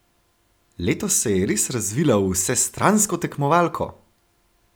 Letos se je res razvila v vsestransko tekmovalko!